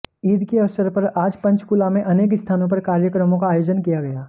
ईद के अवसर पर आज पंचकूला में अनेक स्थानों पर कार्यक्रमों का आयोजन किया गया